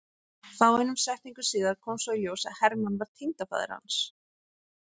Fáeinum setningum síðar kom svo í ljós að Hermann var tengdafaðir hans.